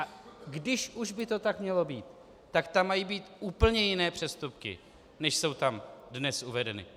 A když už by to tak mělo být, tak tam mají být úplně jiné přestupky, než jsou tam dnes uvedeny.